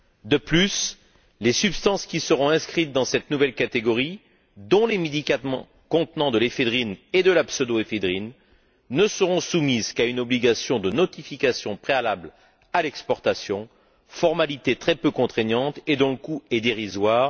De plus, les substances qui seront inscrites dans cette nouvelle catégorie, dont les médicaments contenant de l'éphédrine et de la pseudo éphédrine, ne seront soumises qu'à une obligation de notification préalable à l'exportation, formalité très peu contraignante et d'un coût dérisoire.